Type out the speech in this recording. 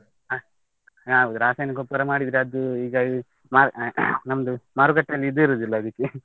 ಹ, ಹೌದು ರಾಸಾಯನಿಕ ಗೊಬ್ಬರ ಮಾಡಿದ್ರೆ ಅದು ಈಗ ಮಾ~ ನಮ್ದು ಮಾರುಕಟ್ಟೆಯಲ್ಲಿ ಇದು ಇರುದಿಲ್ಲ ಅದಿಕ್ಕೆ.